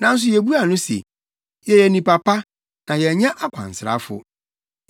Nanso yebuaa no se, ‘Yɛyɛ nnipa pa, na yɛnyɛ akwansrafo.